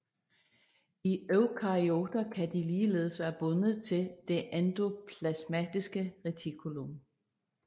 I eukaryoter kan de ligeledes være bundet til det endoplasmatiske retikulum